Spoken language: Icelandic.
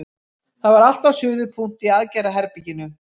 Það var allt á suðupunkti í aðgerðaherberginu.